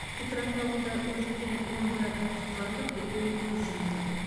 петропавлда өрттен он бір адам құтқарылып біреуі көз жұмды